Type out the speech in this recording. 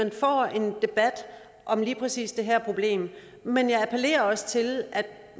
debat om lige præcis det her problem men jeg appellerer også til at